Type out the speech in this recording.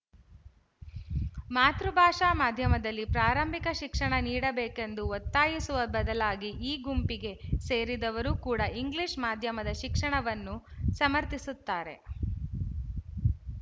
ಮಾತೃಭಾಷಾ ಮಾಧ್ಯಮದಲ್ಲಿ ಪ್ರಾರಂಭಿಕ ಶಿಕ್ಷಣ ನೀಡಬೇಕೆಂದು ಒತ್ತಾಯಿಸುವ ಬದಲಾಗಿ ಈ ಗುಂಪಿಗೆ ಸೇರಿದವರು ಕೂಡ ಇಂಗ್ಲಿಶ ಮಾಧ್ಯಮದ ಶಿಕ್ಷಣವನ್ನು ಸಮರ್ಥಿಸುತ್ತಾರೆ